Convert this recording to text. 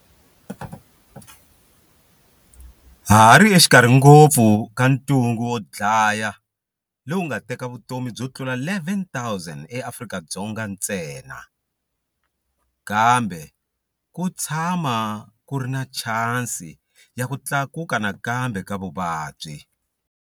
Ha hari exikarhi ngopfu ka ntungukulu wo dlaya lowu wu nga teka vutomi byo tlula 11,000 eAfrika-Dzonga ntsena. Kambe ku tshama ku ri na chansi ya ku tlakuka nakambe ka vuvabyi.